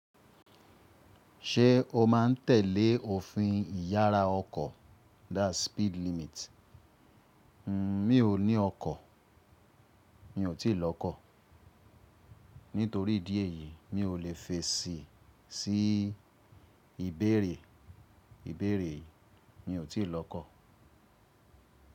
Ṣé o má n tẹ̀lé òfin ìyára ọkọ̀? That’s speed limit. Mi ò ní ọkọ̀. Mi ò tíì lọ kọ̀. Nítorí ìdí èyí mi ò lè fèsì sí ìbéèrè, ìbéèrè yìí. Mi ò tíì lọ kọ̀.